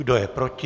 Kdo je proti?